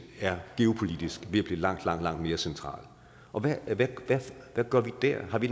geopolitisk er blive langt langt mere centralt hvad gør vi der har vi